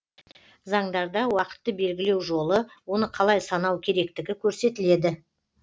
заңдарда уақытты белгілеу жолы оны қалай санау керектігі көрсетіледі